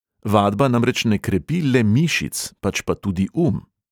Vadba namreč ne krepi le mišic, pač pa tudi um.